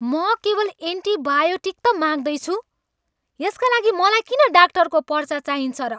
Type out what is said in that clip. म केवल एन्टिबायोटिक त माग्दैछु! यसका लागि मलाई किन डाक्टरको पर्चा चाहिन्छ र?